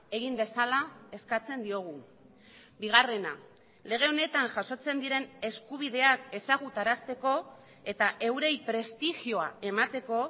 egin dezala eskatzen diogu bigarrena lege honetan jasotzen diren eskubideak ezagutarazteko eta eurei prestigioa emateko